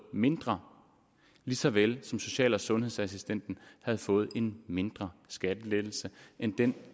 mindre lige så vel som social og sundhedsassistenten havde fået en mindre skattelettelse end den